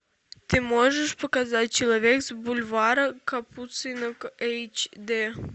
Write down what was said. ты можешь показать человек с бульвара капуцинов эйч дэ